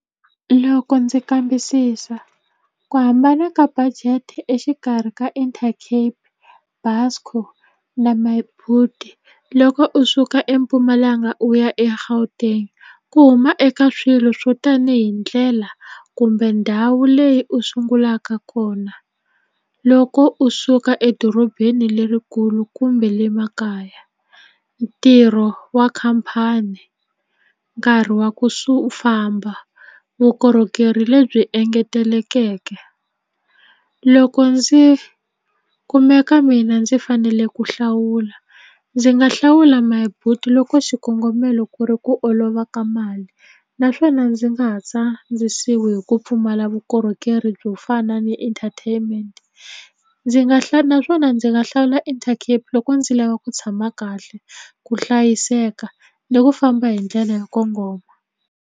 Loko ndzi kambisisa ku hambana ka budget exikarhi ka Intercape Busco na Myboet loko u suka eMpumalanga u ya eGauteng ku huma eka swilo swo tanihi ndlela kumbe ndhawu leyi u sungulaka kona loko u suka edorobeni lerikulu kumbe le makaya ntirho wa khampani nkarhi wa ku famba vukorhokeri lebyi engetelekeke loko ndzi kumeka mina ndzi fanele ku hlawula ndzi nga hlawula Myboet loko xikongomelo ku ri ku olova ka mali naswona ndzi nga ha tsandzisiwi hi ku pfumala vukorhokeri byo fana ni entertainment ndzi nga naswona ndzi nga hlawula Intercape loko ndzi lava ku tshama kahle ku hlayiseka ni ku famba hi ndlela yo kongoma.